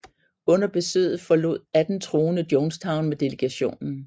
Under besøget forlod 18 troende Jonestown med delegationen